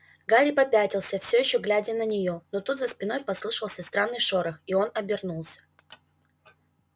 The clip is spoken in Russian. гарри попятился всё ещё глядя на неё но тут за спиной послышался странный шорох и он обернулся